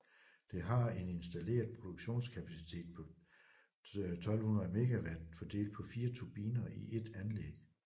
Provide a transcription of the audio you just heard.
Det har en installeret produktionskapacitet på 1200 MW fordelt på 4 turbiner i ét anlæg